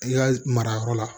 I ka marayɔrɔ la